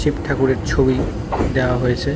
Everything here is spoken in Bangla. শিব ঠাকুরের ছবি দেওয়া হয়েছে।